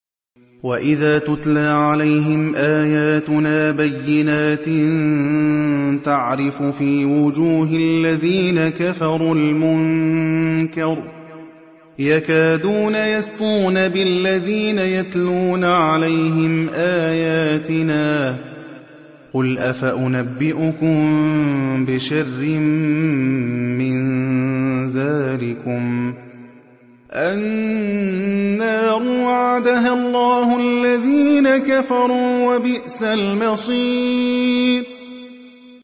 وَإِذَا تُتْلَىٰ عَلَيْهِمْ آيَاتُنَا بَيِّنَاتٍ تَعْرِفُ فِي وُجُوهِ الَّذِينَ كَفَرُوا الْمُنكَرَ ۖ يَكَادُونَ يَسْطُونَ بِالَّذِينَ يَتْلُونَ عَلَيْهِمْ آيَاتِنَا ۗ قُلْ أَفَأُنَبِّئُكُم بِشَرٍّ مِّن ذَٰلِكُمُ ۗ النَّارُ وَعَدَهَا اللَّهُ الَّذِينَ كَفَرُوا ۖ وَبِئْسَ الْمَصِيرُ